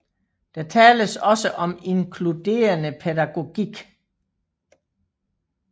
Der tales også om inkluderende pædagogik